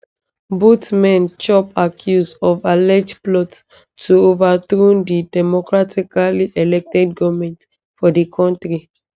both men chop accuse of alleged plot to overthrow di democratically elected goment for di kontri